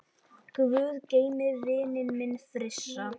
Guð geymi vininn minn Frissa.